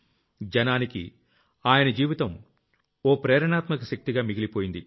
జనానికి ఆయన జీవితం ఓ ప్రేరణాత్మక శక్తిగా మిగిలిపోయింది